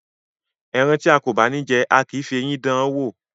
Ẹran tía kò bá ní jẹ, a kìí fi eyín dáan wò.